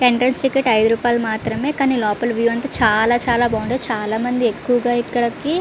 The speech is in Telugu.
ఎంట్రెన్స్ టికెట్ ఐదు రుపాయలు మాత్రమే కానీ లోపల వ్యూ అంతా చాలా చాలా బాగుంటాది చాల మంది ఎక్కువగా ఇక్కడికి --